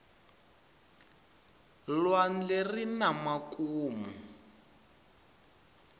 lwandle arina makumu